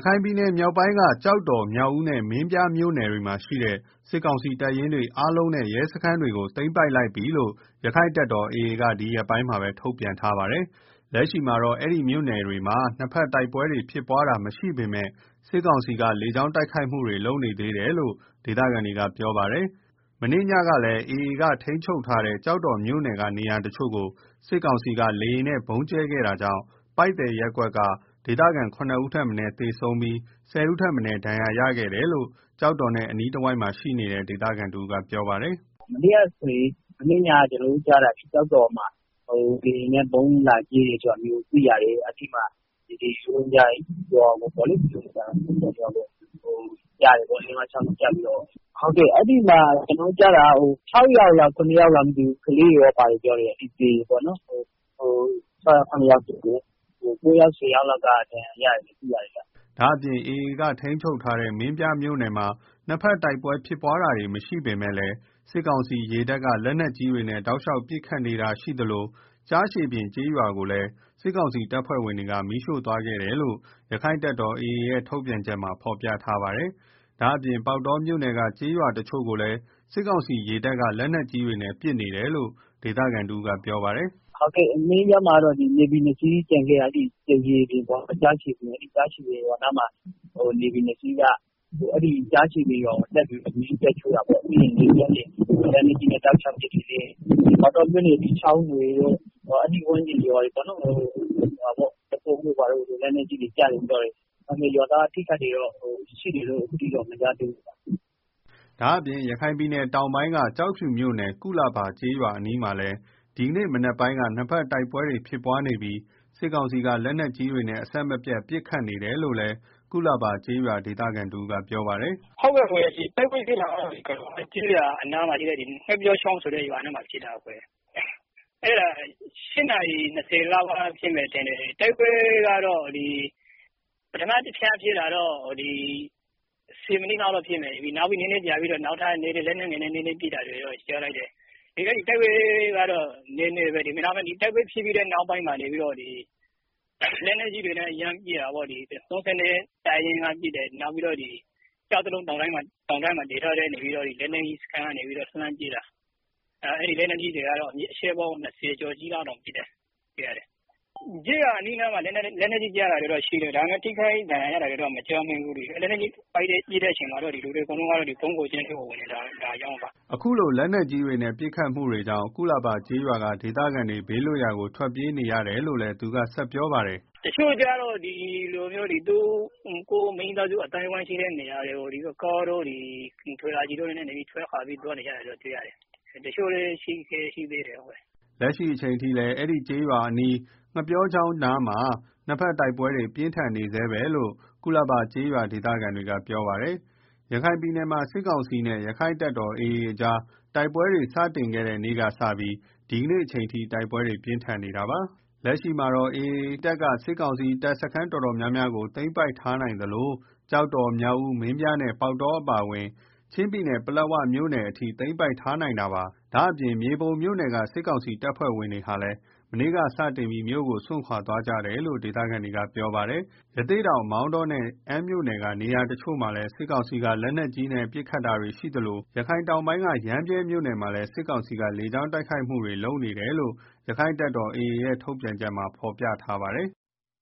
ခိုင်ပြည်နယ်မြောက်ပိုင်းက ကျောက်တော်၊ မြောက်ဦးနဲ့ မင်းပြားမြို့နယ်တွေမှာ ရှိတဲ့ စစ်ကောင်စီတပ်ရင်းတွေ အားလုံးနဲ့ ရဲစခန်းတွေကို သိမ်းပိုက်လိုက်ပြီလို့ ရက္ခိုင့်တပ်တော် AA က ဒီရက်ပိုင်းမှာပဲ ထုတ်ပြန်ထားပါတယ်။ လက်ရှိမှာတော့ အဲဒီမြို့နယ်တွေမှာ နှစ်ဘက် တိုက်ပွဲဖြစ်ပွားတာမရှိပေမယ့် စစ်ကောင်စီ လေကြောင်း တိုက်ခိုက်မှုတွေ ရှိနေသေးတယ်လို့ ဒေသခံတွေက ပြောဆိုကြပါတယ်။ မနေ့ညကလည်း AA ထိန်းချုပ်ထားတဲ့ ကျောက်တော်မြို့နယ်က နေရာတချို့ကို စစ်ကောင်စီက လေယာဉ်နဲ့ ဗုံးကျဲခဲ့ တာကြောင့် ပိုက်သည်ရပ်ကွက်က ဒေသခံ ရဦးထက်မနည်းသေဆုံးပြီး ၁ဝဦးထက်မနည်း ဒဏ်ရာရရှိခဲ့ တယ်လို့ ကျောက်တော်နဲ့ အနီးတဝိုက်မှာ ရှိနေတဲ့ ဒေသခံတဦးကပြောပါတယ်။ “ မနေ့ညက ကျနော်တို့ကြားတာ ကျောက်တော်မှာ လေယာဉ်နဲ့ ဗုံးလာကြဲတယ်လို့ သိရတယ် အဲဒီမှာ ပိုက်သည် ရိုဟင်ဂျာရွာကို ဗုံးကျတယ်လို့ သိရတယ်။ အဲဒီမှာ ကျနော်တို့ ကြားတာက ၆ ယောက်လား ၇ ယောက်လားမသိဘူး ကလေးတွေလည်း ပါတယ်လို့ပြောတယ် သေကြတယ်ပေါ့နော်၊ ၉ယောက် ၁ဝယောက်က ဒဏ်ရာရတယ်လို့ သိရတယ်။” ဒါ့အပြင် AAထိန်းချုပ်ထားတဲ့ မင်းပြားမြို့နယ်မှာ နှစ်ဘက်တိုက်ပွဲ ဖြစ်ပွားတာမရှိပေမယ့် စစ်ကောင်စီရေတပ်က လက်နက်ကြီးတွေနဲ့ တောက်လျောက်ပစ်ခတ်နေတာရှိသလို ကျားရှည်ပြင်ကျေးရွာကိုလည်း စစ်ကောင်စီတပ်ဖွဲ့ဝင်တွေ မီးရှို့ သွားတယ်လို့ ရက္ခိုင့်တပ်တော်AAရဲ့ ထုတ်ပြန်ချက်မှာဖော်ပြထားပါတယ်။ ဒါ့အပြင်ပေါက်တောမြို့နယ်က ကျေးရွာတချို့ကိုလည်း စစ်ကောင်စီရေတပ်က လက်နက်ကြီးတွေနဲ့ ပစ်ခတ်နေတယ်လို့ ဒေသခံတဦးကပြောပါတယ်။ “မင်းပြားမှာတော့ နေဗီနှစ်စီးကျန်ခဲ့တာ အဲဒီနှစ်စီးက ကျားချေပြင်ကျေးရွာကို တက်ပြီးတော့ မီးတက်ရှို့တာပေါ့နော်၊ ပြီးတော့ လက်နက်ကြီးနဲ့ တောက်လျောက်ပစ်တယ်၊ ပေါက်တောမြို့နယ်က ကျေးရွာတချို့ကိုလည်း လက်နက်ကြီးတွေ ကျတယ်လို့ သိရတယ် ဒါပေမယ့် ဒေသခံတွေ ထိခိုက်တာ ရှိတယ်လို့တော့ မကြားသေးဘူးဗျာ။” ဒါ့အပြင် ရခိုင်တောင်ပိုင်းက ကျောက်ဖြူမြို့နယ် ကုလာဘာ ကျေးရွာအနီးမှာလည်း ဒီကနေ့ မနက်ပိုင်းက နှစ်ဘက်တိုက်ပွဲ ဖြစ်ပွားနေပြီး စစ်ကောင်စီက လက်နက်ကြီးတွေနဲ့ အဆက်မပြတ် ပစ်ခတ်နေတယ်လို့ ကုလာဘာကျေးရွာ ဒေသခံတဦးကပြောပါတယ်။ “ တိုက်ပွဲဖြစ်တာကတော့ ကုလဘာကျေးရွာအနီး ငှက်ပျောချောင်းရွာနားမှာ ဖြစ်တာ ၈နာရီ၂၀ လောက်က ဖြစ်မယ်ထင်တယ် တို်က်ပွဲကတော့ ပထမ တကြိမ်က ၁ဝမိနစ် လောက်ဖြစ်မယ်၊ ပြီးတော့ နောက်ထပ်လက်နက်ငယ်နဲ့ နည်းနည်းပစ်တာရယ်၊ တိုက်ပွဲက တော့ နည်နည်းပဲ ဒါပေမယ့် တိုက်ပွဲဖြစ်ပြီးတဲ့ နောက်ပိုင်းမှာ လက်နက်ကြီးတွေနဲ့ ယမ်းပစ် တာပေါ့၊ ၃၂တပ်ရင်းက ပစ်တယ်၊ နောက်ပြီးတော့ ဒီကျောက်တလုံးတောင်တန်းမှာ တည်ထားတဲ့ လက်နက်ကြီးစခန်းက လှမ်းပစ်တာ၊ အချက်ပေါင်း ၂ဝကျော်လောက်ပစ်တယ်၊ လက်နက်ကြီးတွေ ရွာအနီးအနားကို ကျတာတော့ရှိတယ် ဒါပေမယ့် လူတွေ ထိခိုက်ဒဏ် ရာရတာတော့မရှိဘူး ပစ်တဲ့အချိန် လူတွေ အကုန်လုံးက ဗုံးခိုကျင်းထဲ ဝင်နေကြတာကြောင့်ပါ။” အခုလို လက်နက်ကြီးတွေနဲ့ ပစ်ခတ်မှုတွေကြောင့် ကုလာဘာကျေးရွာက ဒေသခံတွေ ဘေးလွတ်ရာကို ထွက်ပြေးနေကြရတယ်လို့လည်း သူက ဆက်ပြောပါတယ်။ “ ဒီလိုမျိုး မိသားစုအသိုင်းအဝိုင်းရှိတဲ့နေရာတွေကို ကားတို့ ထော်လာဂျီတို့နဲ့ ထွက်ခွာသွား နေကြတာရှိတယ်၊ တချို့လည်းရှိသေးတယ်။” လက်ရှိအချိန်ထိလည်း အဲဒီကုလဘာကျေးရွာအနီး ငှက်ပျော်ချောင်းနားမှာ နှစ်ဘက်တိုက်ပွဲ ပြင်းထန်နေဆဲဖြစ်တယ်လို့ကုလဘာကျေးရွာဒေသခံတွေက ပြောပါတယ်။ ရခိုင်ပြည်နယ်မှာ စစ်ကောင်စီနဲ့ ရက္ခိုင်တပ်တော်AA ကြားတိုက်ပွဲတွေ စတင်ခဲ့တဲ့နေ့ကစပြီး ဒီကနေ့ အထိ တိုက်ပွဲတွေပြင်းထန်နေတာပါ။လက်ရှိမှာတော့ AAတပ်က စစ်ကောင်စီ တပ်စခန်းတော်တော်များများကို သိမ်းပိုက်ထားနိုင်သလို ကျောက်တော်၊ မြောက်ဦး၊ မင်းပြားနဲ့ ပေါက်တောအပါအဝင် ချင်းပြည်နယ်က ပလက်ဝမြို့နယ်အထိ သိမ်းပိုက် ထားနိုင်တာလည်းဖြစ်ပါတယ်။ ဒါ့အပြင် မြေပုံမြို့နယ်က စစ်ကောင်စီတပ်ဖွဲ့ဝင်တွေဟာလည်း မနေ့ကစတင်ပြီး မြို့ကိုစွန့်ခွာသွားကြတယ်လို့ ဒေသခံတေက ပြောဆိုကြပါတယ်။ ရသေ့တောင် မောင်တောနဲ့ အမ်းမြို့နယ်က နယ်ရာတချို့မှာလည်း စစ်ကောင်စီက လက်နက်ကြီးတွေနဲ့ ပစ်ခတ်နေတာတွေရှိသလို ရခိုင်တောင်ပိုင်းက ရမ်းဗြဲမြို့နယ်မှာလည်း စစ်ကောင်စီက လေကြောင်းတိုက်ခိုက်မှုတွေ လုပ်ဆောင်နေတယ်လို့ ရက္ခိုင့်တပ်တော်AAရဲ့ ထုတ်ပြန်ချက်မှာဖော်ပြထားပါတယ်။